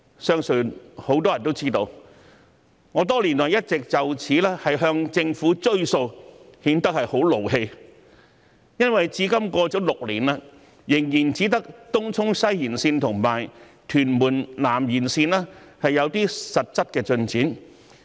相信很多人都知道，我多年來一直就此要求政府兌現承諾，顯得很生氣，因為至今已過了6年，仍然只有東涌西延綫和屯門南延綫有些實際進展。